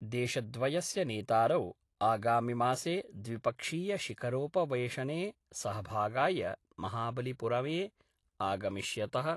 देशद्वयस्य नेतारौ आगामिमासे द्विपक्षीयशिखरोपवेशने सहभागाय महाबलिपुरमे आगमिष्यत:।